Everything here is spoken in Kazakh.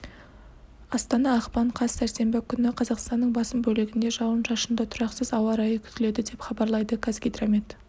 астана ақпан қаз сәрсенбі күні қазақстанның басым бөлігінде жауын-шашынды тұрақсыз ауа райы күтіледі деп хабарлайды қазгидромет